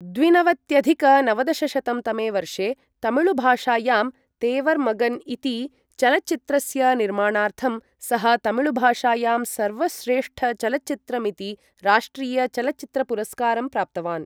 द्विनवत्यधिक नवदशशतं तमे वर्षे, तमिळुभाषायां 'तेवर् मगन्' इति चलच्चित्रस्य निर्माणार्थं, सः तमिळुभाषायां सर्वश्रेष्ठचलच्चित्रमिति राष्ट्रियचलच्चित्रपुरस्कारं प्राप्तवान्।